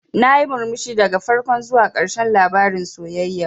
Nayi murmushi daga farko zuwa ƙarshen labarin sayayyar.